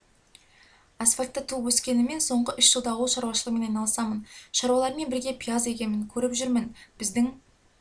асфальтта туып-өскеніммен соңғы үш жылда ауыл шаруашылығымен айналысамын шаруалармен бірге пияз егемін көріп жүрмін біздің